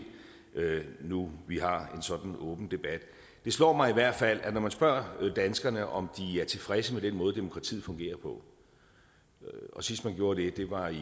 nu hvor vi har en sådan åben debat det slår mig i hvert fald at når man spørger danskerne om de er tilfredse med den måde demokratiet fungerer på og sidst man gjorde det var i